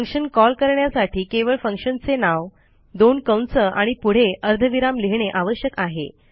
function call करण्यासाठी केवळ फंक्शनचे नाव दोन कंस आणि पुढे अर्धविराम लिहिणे आवश्यक आहे